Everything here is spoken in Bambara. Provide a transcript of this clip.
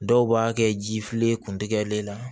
Dɔw b'a kɛ ji fililen kuntigɛlen na